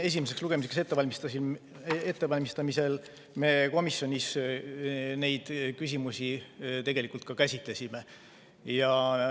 Esimeseks lugemiseks ettevalmistamisel me komisjonis neid küsimusi tegelikult käsitlesime.